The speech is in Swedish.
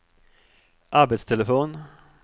arbetstelefon